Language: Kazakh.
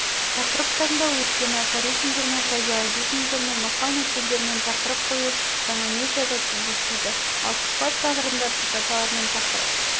тақырып таңдау өйткені афоризмдермен фразеологизмдермен мақал-мәтелдермен тақырып қою жаңа медиада кездеспейді ал сұбат жанрында цитаталармен тақырып